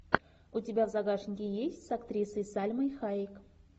у тебя в загашнике есть с актрисой сальмой хайек